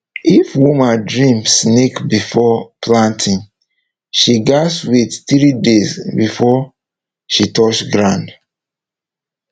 if woman dream snake before planting she gats wait three days before she touch ground